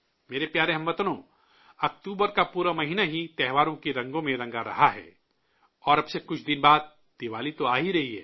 میرے پیارے ہم وطنو، اکتوبر کا پورا مہینہ ہی تہواروں کے رنگوں میں رنگا رہا ہے اور اب سے کچھ دن بعد دیوالی تو آ ہی رہی ہے